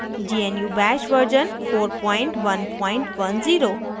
* gnu bash version 4110